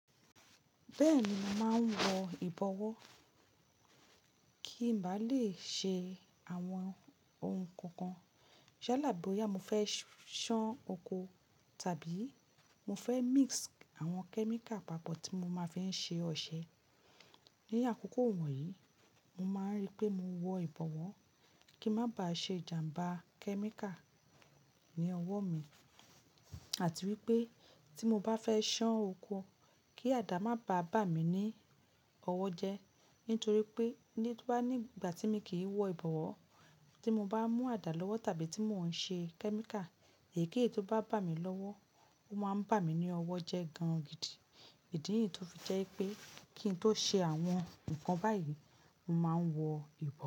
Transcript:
Bẹ́ẹ̀ ni, màá ń wọ ìbọ̀wọ́ kí ń bá lè ṣe àwọn oun kankan. Yalá boyà mo fẹ́ ṣán oko tàbí mo fẹ́ mix àwọn kẹ́míkà papọ̀ tí mo máa fẹ́ ṣe ọṣẹ. Ní àkókò wọ̀nyí, mo máa ń rí pé mo wọ ìbọ̀wọ́, kí má ba ṣe ìjàmbá kẹ́míkà ní ọwọ́ mi àti wípé tí mo bá fẹ́ ṣán oko kí àdá má bá bà mí ní ọwọ́ jẹ. Nítorí pé nígbà tí mi kì í wọ ìbọ̀wọ́ tí mo bá mú àdá lọ́wọ́ tàbí tí mò ń ṣe kẹ́míkà, èyíkéyìí tó bá bà mí lọ́wọ́, ó máa ń bà mí ní ọwọ́ jẹ gan gidi. Ìdí nìyí tó fi jẹ́ pé kí n tó ṣe àwọn nǹkan báyìí, mo máa ń wọ ìbọ̀wọ́.